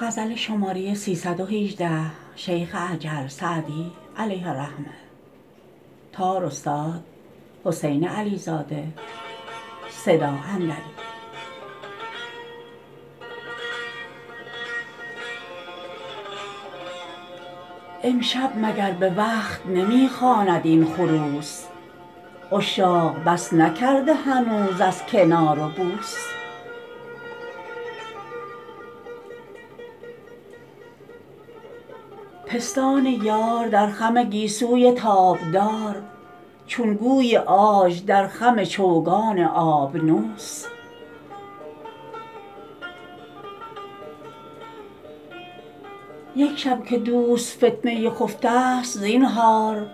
امشب مگر به وقت نمی خواند این خروس عشاق بس نکرده هنوز از کنار و بوس پستان یار در خم گیسوی تابدار چون گوی عاج در خم چوگان آبنوس یک شب که دوست فتنه خفته ست زینهار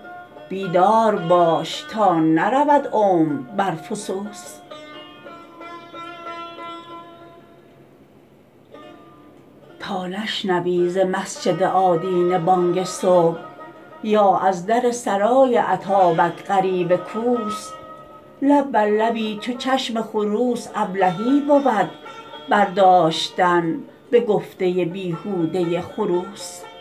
بیدار باش تا نرود عمر بر فسوس تا نشنوی ز مسجد آدینه بانگ صبح یا از در سرای اتابک غریو کوس لب بر لبی چو چشم خروس ابلهی بود برداشتن به گفته بیهوده خروس